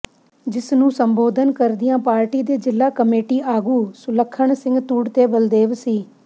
ਜਿਸ ਨੂੰ ਸੰਬੋਧਨ ਕਰਦਿਆਂ ਪਾਰਟੀ ਦੇ ਜ਼ਿਲ੍ਹਾ ਕਮੇਟੀ ਆਗੂ ਸੁਲੱਖਣ ਸਿੰਘ ਤੁੜ ਤੇ ਬਲਦੇਵ ਸਿ